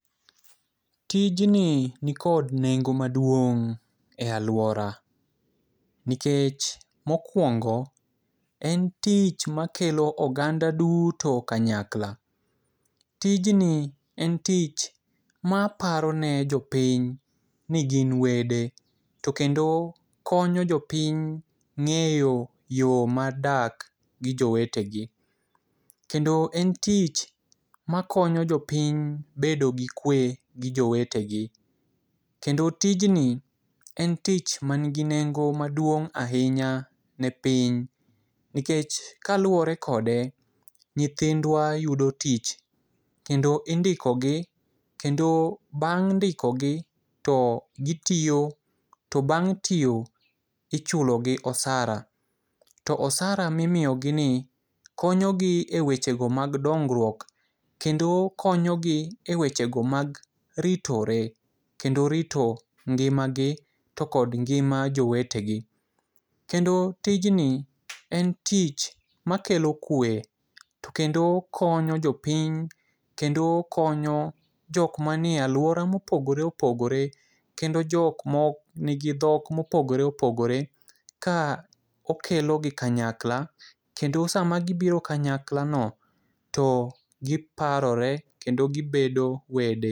Tijni nikod nengo maduong' ei alwora nikech mokwongo en tich makelo oganda duto kanyakla, tijni en tich ma aparo ni jopiny ni gin wede to kendo konyo jopiny ng'eyo yo mar dak gi jowetegi, kendo en tich makonyo jopiny bedo gi kwe gi jowetegi, kendo tijni en tich manigi nengo maduong' ahinya ne piny nikech kaluwore kode, nyithindwa yudo tich kendo indikogi kendo bang' ndikogi to gitiyo to bang' tiyo ichulogi osara. To osara mimiyogini konyogi e wechego mad dongruok kendo konyogi e wechego mag ritore kendo rito ngimagi to kod ngima jowetegi, kendo tijni en tich makelo kwe to kendo konyo jopiny kendo konyo jok manie alwora mopogore opogore, kendo jok manigi dhok mopogore opogore ka okelogi kanyakla kendo sama gibiro kanyaklano to giparore kendo gibedo wede.